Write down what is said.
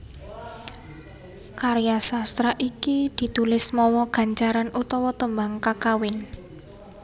Karya sastra iki ditulis mawa gancaran utawa tembang kakawin